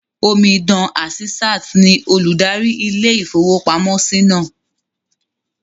Omidan Àsísàt ní olùdarí ilé-ìfowópamọ́sí náà